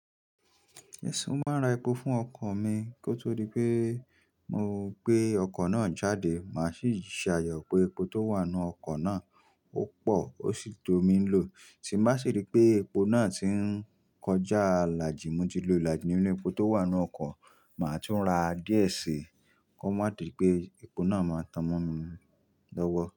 Ẹ̀sùn máa ra epo fún ọkọ̀ mi. Kó tó rí pé mo gbé ọkọ̀ náà jáde, màá sì ṣe àyè pé epo tó wà nínú ọkọ̀ náà ó pọ̀ ó sì tó mi ń lò. Tí ń bá sì rí pé epo náà ti ń kọjá ilàjì mótílò ilàjí ninu epo tó wà nínú ọkọ̀, màá tún ra díẹ̀ sí i kó má di pé epo náà máa tan'mọ́mi lọ́wọ́.